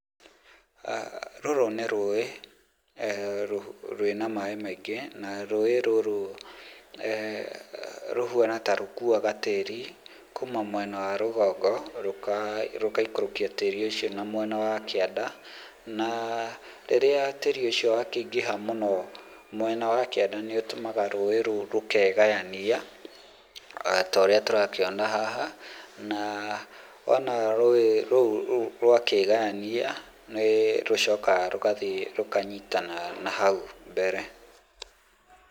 Rũrũ nĩ rũĩ, rwĩna maĩ maingĩ, na rũĩ rũrũ rũhuana ta rũkuaga tĩri kuma mwena wa rũgongo, rũgaikũrũkia tĩri ũcio na mwena wa kĩanda, na rĩrĩa tĩri ũcio wakĩingĩha mũno mwena wa kĩanda nĩ ũtũmaga rũĩ rũu rũkegayania, ta ũrĩa tũrakĩona haha, na wona rũĩ rũu rwakĩgayania, nĩ rũcokaga rũgathiĩ rũkanyitana na hau mbere.